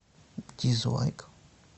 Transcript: дизлайк